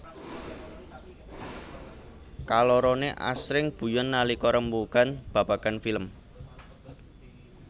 Kaloroné asring guyon nalika rembugan babagan film